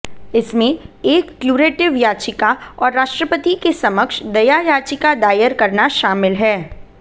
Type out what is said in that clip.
इसमें एक क्यूरेटिव याचिका और राष्ट्रपति के समक्ष दया याचिका दायर करना शामिल है